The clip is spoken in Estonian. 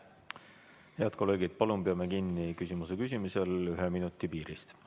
Head kolleegid, palun peame küsimuse esitamisel kinni ühe minuti piirist!